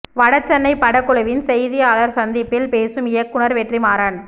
வடசென்னை படக்குழுவின் செய்தியாளர் சந்திப்பில் பேசும் இயக்குனர் வெற்றி மாறன்